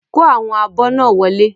Kó àwọn abọ́ náà Wọlé.